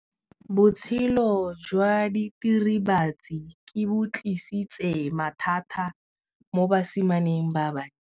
Botshelo jwa diritibatsi ke bo tlisitse mathata mo basimaneng ba bantsi.